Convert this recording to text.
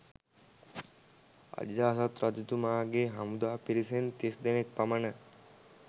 අජාසත් රජතුමාගේ හමුදා පිරිසෙන් තිස් දෙනෙක් පමණ